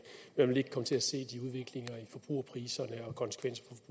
man vil ikke komme til at se de udviklinger i forbrugerpriserne og konsekvenser